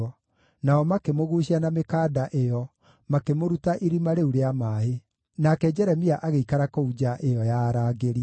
nao makĩmũguucia na mĩkanda ĩyo, makĩmũruta irima rĩu rĩa maaĩ. Nake Jeremia agĩikara kũu nja ĩyo ya arangĩri.